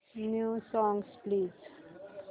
new songs please